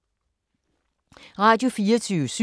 Radio24syv